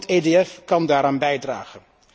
Ook het EOF kan daaraan bijdragen.